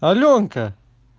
алёнка